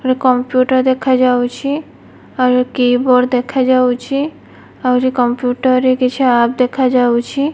Computer ଦେଖାଯାଉଛି ଆହୁରି keyboard ଦେଖାଯାଉଛି ଆହୁରି କମ୍ପ୍ୟୁଟର ରେ କିଛି ଆପ ଦେଖାଯାଉଛି।